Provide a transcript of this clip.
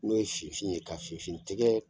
N'o ye fifin ye ka fifin tigɛ